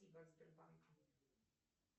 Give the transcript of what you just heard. спасибо от сбербанка